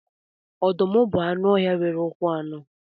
Ọdụm bụ anụ ọhịa nwere ụkwụ anọ